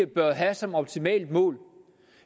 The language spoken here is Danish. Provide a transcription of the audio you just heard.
bør have som optimalt mål